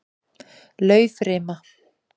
Laufrima